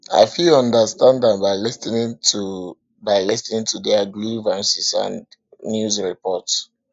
i fit understand am by lis ten ing to by lis ten ing to their grievances and news reports